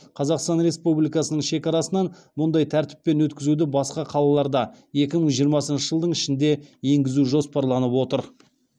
қазақстан республикасының шекарасынан мұндай тәртіппен өткізуді басқа қалаларда екі мың жиырмасыншы жылдың ішінде енгізу жоспарланып отыр